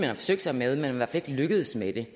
har forsøgt sig med det men man ikke lykkedes med det